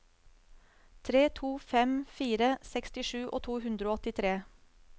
tre to fem fire sekstisju to hundre og åttitre